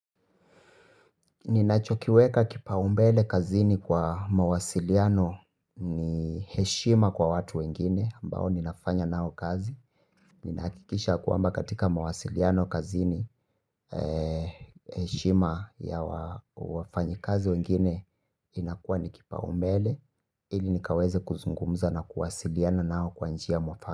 Ninachokiweka kipaumbele kazini kwa mawasiliano ni heshima kwa watu wengine ambao ninafanya nao kazi. Ninakikisha ya kwamba katika mawasiliano kazini heshima ya wafanyikazi wengine inakuwa ni kipaumbele. Ili nikaweze kuzungumza na kuwasiliana nao kwa njia mwafaka.